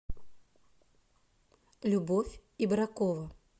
любовь ибракова